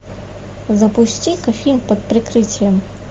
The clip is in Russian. запусти ка фильм под прикрытием